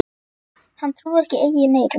Hann trúði ekki eigin eyrum.